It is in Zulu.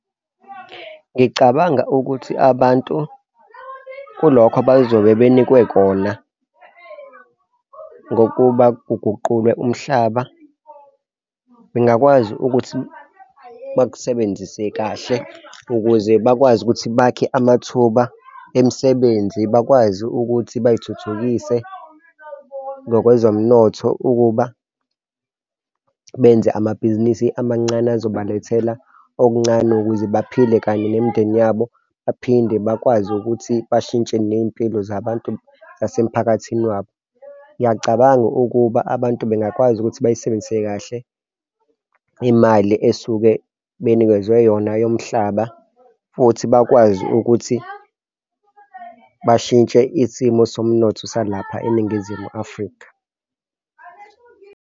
Ngicabanga ukuthi abantu kulokho abazobe banikwe kona, ngokuba kuguqulwe umhlaba bengakwazi ukuthi bakusebenzise kahle ukuze bakwazi ukuthi bakhe amathuba emisebenzi bakwazi ukuthi bay'thuthukise ngokwezomnotho ukuba benze amabhizinisi amancane ezobalethela okuncane ukuze baphile kanye nemindeni yabo. Baphinde bakwazi ukuthi bashintshe ney'mpilo zabantu zasemiphakathini wabo. Ngiyacabanga ukuba abantu bengakwazi ukuthi bayisebenzise kahle imali esuke benikezwe yona yomhlaba futhi bakwazi ukuthi bashintshe isimo somnotho salapha eNingizimu Afrika.